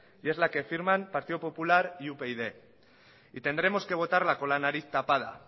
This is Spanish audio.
y es la que firman partido popular y upyd y tendremos que votarla con la nariz tapada